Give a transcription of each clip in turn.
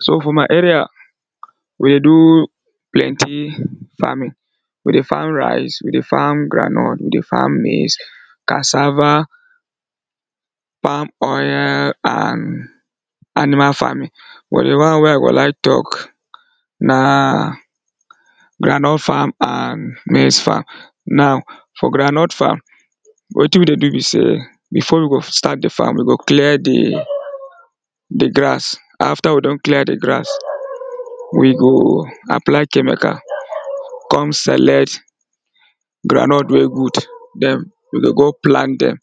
So for my area, we dey do plenty farming we dey farm rice, we dey farm groundnut, we dey farm maize, cassava palm oil and animal farming, but di one wey I go like talk na groundnut farm and maize farm. Now for groundnut farm wetin we dey do be sey, before we go start di farm, we go clear di di grass. After we don clear di grass, we go apply chemical, come select groundnut wey good, then we dey go plant dem.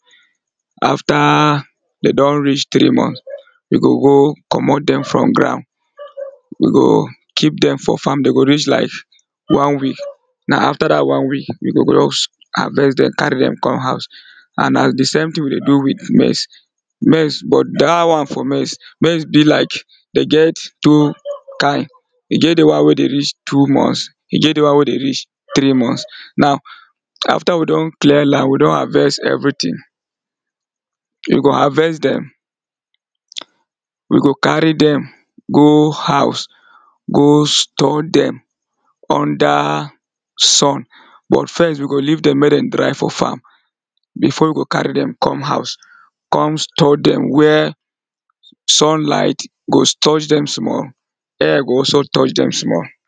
After dey don reach three month, we go go comot dem from ground we go keep dem for farm, dem go reach like one week. Na after dat one week we go just harvest dem carry dem come house and na di same thing we dey do with maize. Maize, but dat one for maize, maize be like dem get two kind, dem get di one wey dey reach two months, dem get di one wey dey reach three months. Now after we don clear land, we don harvest everything we go harvest dem. We go carry dem go house go store dem under sun. But first we go leave dem make dem dry for farm before we go carry dem come house come store dem where sunlight go touch dem small, air go also touch dem small